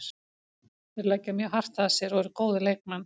Þeir leggja mjög hart að sér og eru góðir leikmenn.